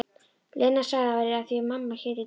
Lena sagði að það væri af því mamma héti Dísa.